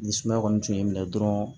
Ni sumaya kɔni tun y'i minɛ dɔrɔn